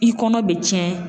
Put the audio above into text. I kɔnɔ be cɛn